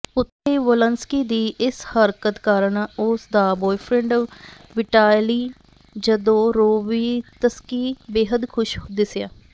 ਉਥੇ ਹੀ ਵੋਲੰਸਕੀ ਦੀ ਇਸ ਹਰਕਤ ਕਾਰਣ ਉਸ ਦਾ ਬੁਆਏਫ੍ਰੈਂਡ ਵਿਟਾਲੀ ਜਦੋਰੋਵੀਤਸਕੀ ਬੇਹੱਦ ਖੁਸ਼ ਦਿਸਿਆ